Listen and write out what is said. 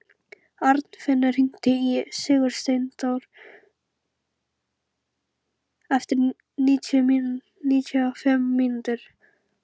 Arnfinnur, hringdu í Sigursteindór eftir níutíu og fimm mínútur.